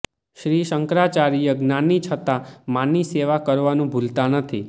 શ્રી શંકરાચાર્ય જ્ઞાની છતાં માની સેવા કરવાનું ભૂલતા નથી